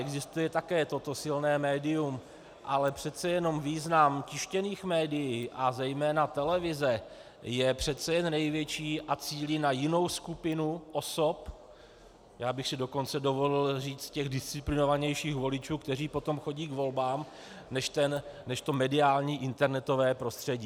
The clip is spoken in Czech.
Existuje také toto silné médium, ale přece jenom význam tištěných médií a zejména televize je přece jen největší a cílí na jinou skupinu osob, já bych si dokonce dovolil říct těch disciplinovanějších voličů, kteří potom chodí k volbám, než to mediální internetové prostředí.